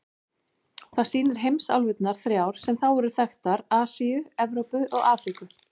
Það sýnir heimsálfurnar þrjár sem þá voru þekktar: Asíu, Evrópu og Afríku.